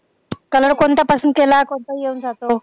color कोणताही पसंत केला कोणताही येऊन जातो.